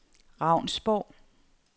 Ravnsborg